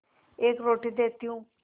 एक रोटी देती हूँ